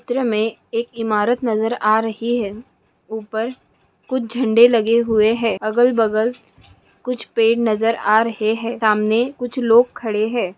चित्र मे एक इमारत नज़र आ रही है। उपर कुछ झंडे लगे हुए है। अगल बगल कुछ पेड़ नज़र आ रहे है। सामने कुछ लोग खड़े है।